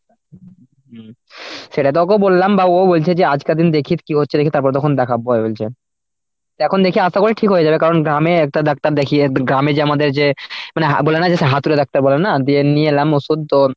সেটা তো ওকে বললাম বাবু ও বলছে যে আজ কদিন দেখি কি হচ্ছে দেখি তারপর দেখাবো বলছে। তো এখন দেখি আশা করি ঠিক হয়ে যাবে কারণ গ্রামে একটা ডাক্তার দেখিয়ে গ্রামে যে আমাদের যে মানে হ্যা~ বললাম যে সে হাতুড়ে ডাক্তার বলে না দিয়ে নিয়ে এলাম ওষুধ তো।